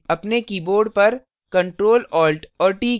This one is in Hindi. अपने कीबोर्ड परctrl alt और t कीज़